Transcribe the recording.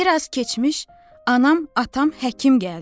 Bir az keçmiş anam, atam, həkim gəldi.